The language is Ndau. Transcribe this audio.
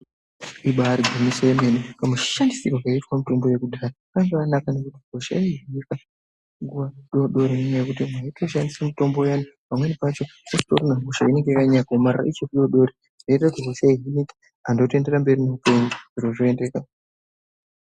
Ibarigwinyiso yemene kamushandisirwe kaitwa mitombo yekudhaya kakakanaka nekuti hosha yaihinwa nguva dodori nenyaya yekuti anhu aishandise mutombo uyai pamweno pacho utorine hosha inenga yakanyanya kuomarara yaihina nguva dodori anhu otoenderera mberi neupenyu zviro zvotoendeka .